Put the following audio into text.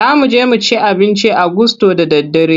Za mu je mu ci abinci a gusto da daddare.